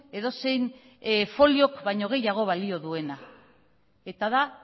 edozein foliok baino gehiago balio duena eta da